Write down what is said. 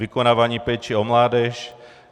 Vykonávání péče o mládež.